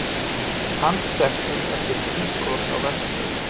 Handteknir eftir innbrot á verkstæði